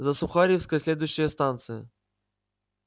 за сухаревской следующая станция